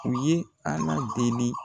U ye Ala deli.